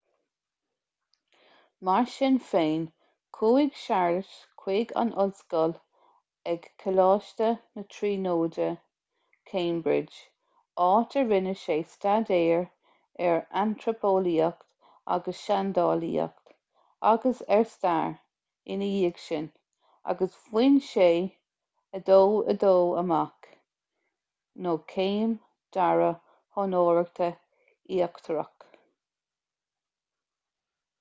mar sin féin chuaigh séarlas chuig an ollscoil ag coláiste na tríonóide cambridge áit a rinne sé staidéir ar antraipeolaíocht agus seandálaíocht agus ar stair ina dhiaidh sin agus bhain sé 2:2 amach céim dara honóracha íochtarach